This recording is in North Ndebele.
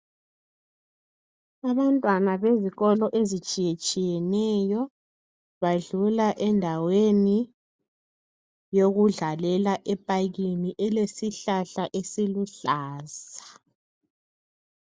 Abantwana bezikolo ezitshiyetshiyeneyo, badlula endaweni yokudlalela epakini elesihlahla esiluhlaza.